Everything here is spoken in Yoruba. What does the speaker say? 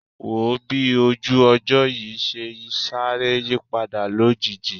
Wò ó bí ojú ọjọ́ yìí ṣe sáré yípadà lójijì